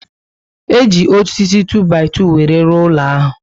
E ji osisi 2-by-2 were rụọ ụlọ ahu